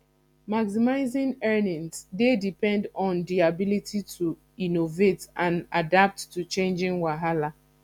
maximizing earnings dey depend on di ability to innovate and adapt to changing wahala